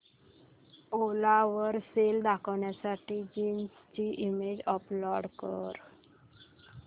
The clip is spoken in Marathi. ओला वर सेल करण्यासाठी जीन्स ची इमेज अपलोड कर